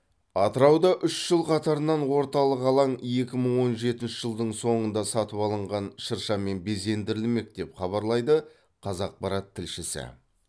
атырауда үш жыл қатарынан орталық алаң екі мың он жетінші жылдың соңында сатып алынған шыршамен безендірілмек деп хабарлайды қазақпарат тілшісі